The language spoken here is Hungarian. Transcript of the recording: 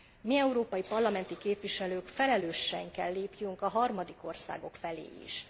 Mi, európai parlamenti képviselők felelősen kell lépjünk a harmadik országok felé is.